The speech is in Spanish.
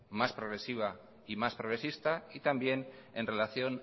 más progresiva y más progresista y también en relación